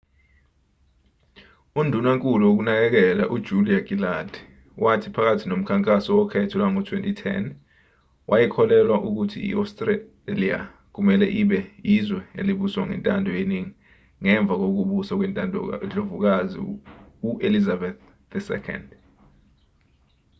undunankulu wokunakekela ujulia gillard wathi phakathi nomkhankaso wokhetho lwango-2010 wayekholelwa ukuthi i-astralia kumelwe ibe izwe elibuswa ngentando yeningi ngemva kokubusa kwendlovukazi uelizabeth ii